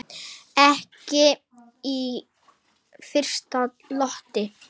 Ekki í fyrstu lotu!